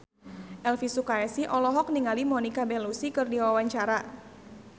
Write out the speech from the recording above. Elvy Sukaesih olohok ningali Monica Belluci keur diwawancara